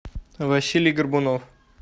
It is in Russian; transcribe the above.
василий горбунов